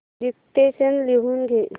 dictation लिहून घे